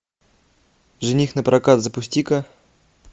жених на прокат запусти ка